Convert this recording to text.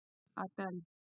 Adel